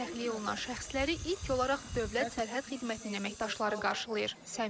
Təxliyə olunan şəxsləri ilk olaraq dövlət sərhəd xidmətinin əməkdaşları qarşılayır.